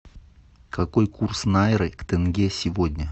какой курс найры к тенге сегодня